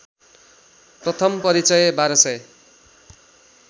प्रथम परिचय १२००